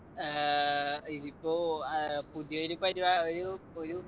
ഏർ ഇതിപ്പോ ഏർ പുതിയൊരു പരിപാ ഒരു ഒരു